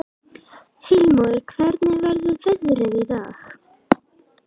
Heilmóður, hvernig er veðrið í dag?